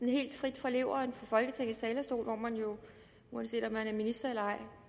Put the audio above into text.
helt frit fra leveren fra folketingets talerstol hvor man jo uanset om man er minister eller ej